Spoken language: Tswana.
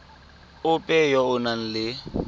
ope yo o nang le